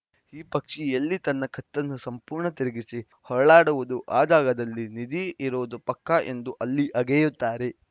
ಈ ಪಕ್ಷಿ ಎಲ್ಲಿ ತನ್ನ ಕತ್ತನ್ನು ಸಂಪೂರ್ಣ ತಿರುಗಿಸಿ ಹೊರಳಾಡುವುದೋ ಆ ಜಾಗದಲ್ಲೇ ನಿಧಿ ಇರೋದು ಪಕ್ಕಾ ಎಂದು ಅಲ್ಲಿ ಅಗೆಯುತ್ತಾರೆ